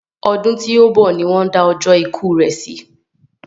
Ọdún tí òún bọ̀ ni won da ọjọ́ ikú rè si